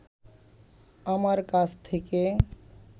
আমার কাছ থেকে